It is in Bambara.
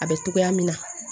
A bɛ togoya min na